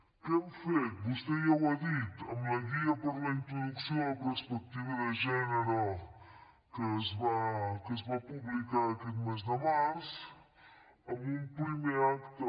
què hem fet vostè ja ho ha dit amb la guia per a la introducció de la perspectiva de gènere que es va publicar aquest mes de març amb un primer acte